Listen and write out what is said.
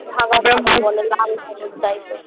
লাল ধাতব type র